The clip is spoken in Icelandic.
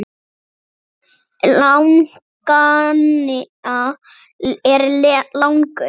Armur laganna er langur